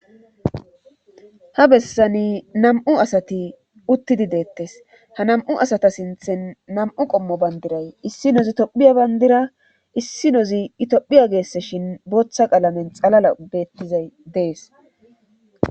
Ha bessani nam7u asati uttidi deettes ha nam7u asata sinthen nam7u qommo banddiray issinoizi tophiya banddira issinozi Itophiya geeseshin bootha qalameni xalala beettizay dees.